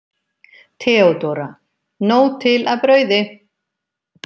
THEODÓRA: Nóg til af brauði!